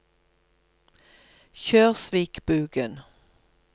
Kjørsvikbugen